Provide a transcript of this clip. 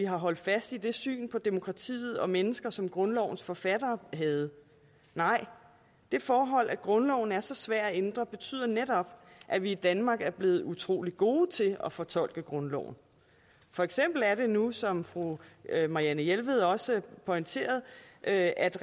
holdt fast i det syn på demokratiet og mennesker som grundlovens forfattere havde nej det forhold at grundloven er så svær at ændre betyder netop at vi i danmark er blevet utrolig gode til at fortolke grundloven for eksempel er det nu sådan som fru marianne jelved også pointerede at at